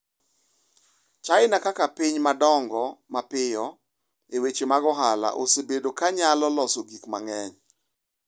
China kaka piny ma dongo mapiyo e weche mag ohala osebedo ka nyalo loso gik mang’eny.